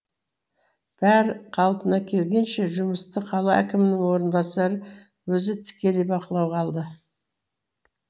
бәрі қалпына келгенше жұмысты қала әкімнің орынбасары өзі тікелей бақылауға алды